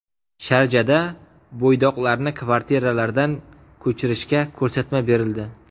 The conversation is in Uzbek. Sharjada bo‘ydoqlarni kvartiralardan ko‘chirishga ko‘rsatma berildi.